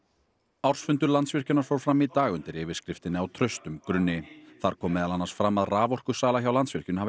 ársfundur Landsvirkjunar fór fram í dag undir yfirskriftinni á traustum grunni þar kom meðal annars fram að raforkusala hjá Landsvirkjun hafi